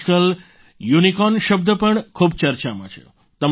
આજકાલ યુનિકોર્ન શબ્દ ખૂબ ચર્ચામાં છે